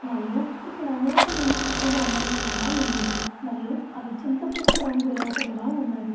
మరియు ఇక్కడ అనేకేముగా చక్క బొమ్మలు కూడా ఉన్నవి. మరియు అవి చింత పీక్క రంగులో కూడా ఉన్నవి.